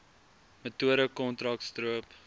metode kontrak stroop